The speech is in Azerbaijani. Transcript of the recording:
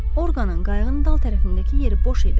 Orqanın qayığın dal tərəfindəki yeri boş idi.